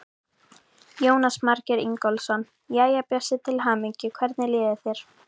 Jónas Margeir Ingólfsson: Jæja, Bjössi, til hamingju, hvernig líður þér?